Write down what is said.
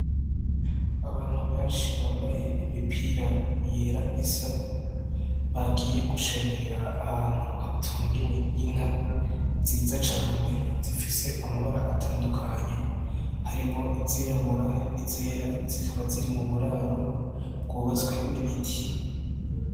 Abantu benshi bambaye imipira yera isa bagiye gushengerera ahantu hatungiwe inka nziza cane zifise amabara atandukanye harimwo izirabura ni zera zikaba ziri mu buraro bwubatswe n'ibiti.